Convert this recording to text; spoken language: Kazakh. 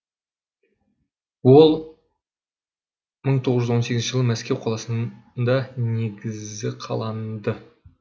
ол мың тоғыз жүз он сегізінші жылы мәскеу қаласында негізі қаланды